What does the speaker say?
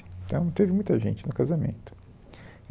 Então teve muita gente no casamento.